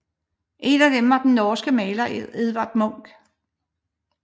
En af dem var den norske maler Edvard Munch